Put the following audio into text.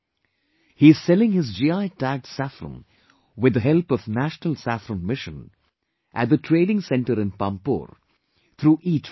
He is selling his GI Tagged Saffron with the help of national Saffron Mission at the Trading Center in Pampore through ETrading